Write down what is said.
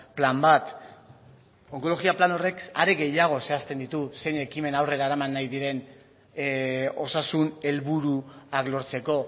plan bat onkologia plan horrek are gehiago zehazten ditu zein ekimen aurrera eraman nahi diren osasun helburuak lortzeko